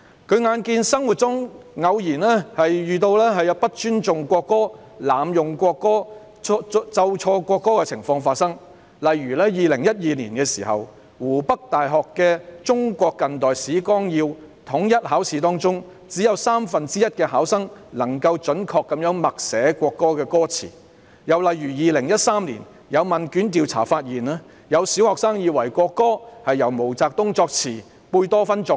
他眼見生活中偶有不尊重國歌、濫用國歌、奏錯國歌的情況發生，例如在2012年湖北大學的《中國近代史綱要》統一考試中，只有三分之一考生能準確默寫國歌歌詞；又例如在2013年，有問卷調查發現，有小學生以為國歌是由毛澤東作詞及貝多芬作曲。